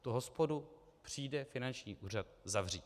Tu hospodu přijde finanční úřad zavřít.